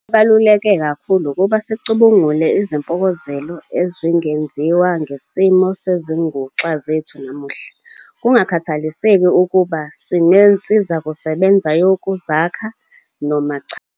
Into ebaluleke kakhulu ukuba sicubungule izimpokozelo ezingenziwa ngesimo sezinguxa zethu namuhla kungakhathaliseki ukuba sinensizakusebenza yokuzakha noma cha.